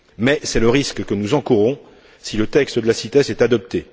Or, c'est le risque que nous encourons si le texte de la CITES est adopté.